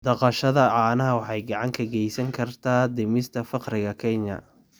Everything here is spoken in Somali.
Dhaqashada caanaha waxay gacan ka geysan kartaa dhimista faqriga Kenya.